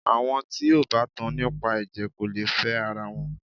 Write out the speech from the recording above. Àwọn tí o bá tan nípa ẹ̀jẹ̀ kò lè fẹ ara wọn.